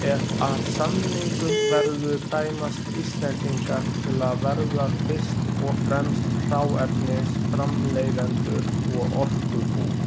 Ef af samningum verður dæmast Íslendingar til að verða fyrst og fremst hráefnisframleiðendur og orkubú.